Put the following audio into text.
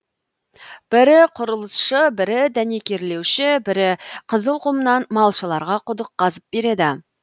бірі құрылысшы бірі дәнекерлеуші бірі қызыл құмнан малшыларға құдық қазып береді